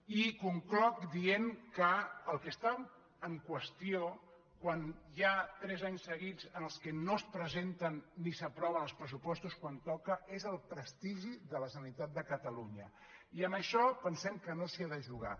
i concloc dient que el que està en qüestió quan hi ha tres anys seguits en què no es presenten ni s’aproven els pressupostos quan toca és el prestigi de la generalitat de catalunya i amb això pensem que no s’hi ha de jugar